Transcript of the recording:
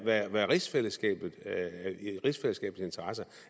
i rigsfællesskabets interesse